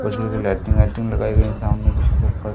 lighting वाइटिंग लगाई गई हैं सामने --